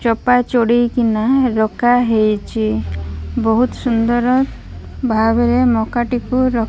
ଚୋପା ଚଡେଇକିନା ରକା ହେଇଚି। ବୋହୁତ୍ ସୁନ୍ଦର୍ ଭାବରେ ମକାଟିକୁ ର --